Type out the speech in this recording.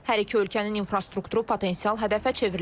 Hər iki ölkənin infrastrukturu potensial hədəfə çevrilib.